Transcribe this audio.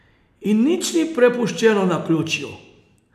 In nič ni prepuščeno naključju.